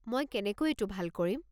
মই কেনেকৈ এইটো ভাল কৰিম?